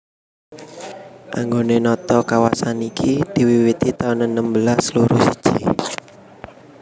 Anggone nata kawasan iki diwiwiti taun enem belas loro siji